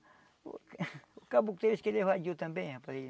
Porque o caboclo tem vezes que ele evadiu também, rapaz.